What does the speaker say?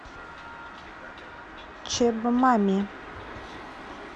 чеб мами